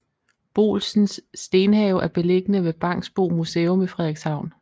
Boolsens Stenhave er beliggende ved Bangsbo Museum i Frederikshavn